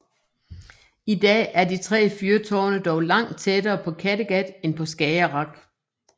I dag er de tre fyrtårne dog langt tættere på Kattegat end på Skagerrak